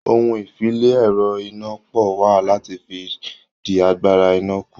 Ohun-ìfi-le-ẹ̀rọ-iná-pọ̀ wà láti fi dí agbára iná kù.